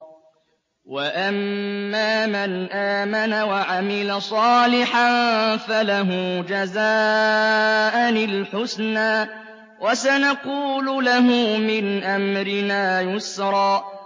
وَأَمَّا مَنْ آمَنَ وَعَمِلَ صَالِحًا فَلَهُ جَزَاءً الْحُسْنَىٰ ۖ وَسَنَقُولُ لَهُ مِنْ أَمْرِنَا يُسْرًا